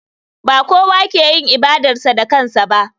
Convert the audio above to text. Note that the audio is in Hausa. Ba kowa ke yin ibadarsa da kansa ba.